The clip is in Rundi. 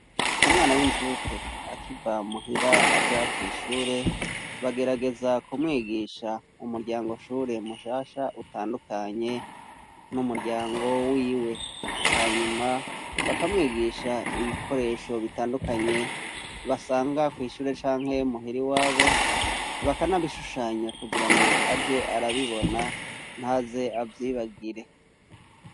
Umwana w'incuke, akiva muhira aja kw'ishure, bagerageza kumwigisha umuryangoshure mushasha utandukanye n'umuryango wiwe; hanyuma bakamwigisha ibikoresho bitandukanye, basanga kw'ishure canke muhira iwabo, bakanabishushanya kugira ngo aje arabibona, ntaze avyibagire.